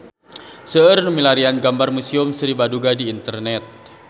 Seueur nu milarian gambar Museum Sri Baduga di internet